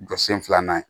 Jɔ sen filanan